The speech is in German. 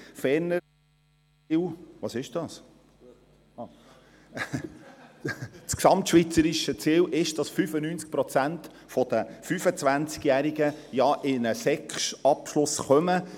Ferner … Das gesamtschweizerische Ziel ist es, dass 95 Prozent der 25-Jährigen einen Sek-Abschluss erreichen.